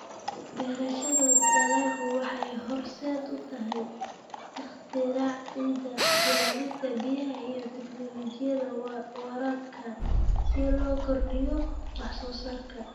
Beerashada dalaggu waxay horseed u tahay ikhtiraacida ilaalinta biyaha iyo tignoolajiyada waraabka si loo kordhiyo wax soo saarka.